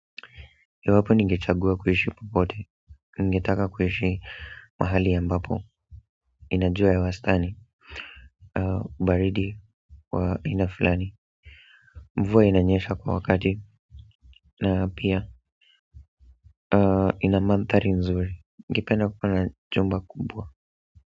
Iwapo ningechagua kuishi popote ningetaka kuishi mahali ambapo ina jua ya wastani baridi kwa kina fulani mvua inanyesha kwa wakati na pia ina manthari nzuri ningependa kukuwa na jumba kubwa.